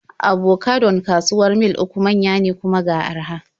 Abocadon kawuwar Mil 3 manya ne, kuma ga araha.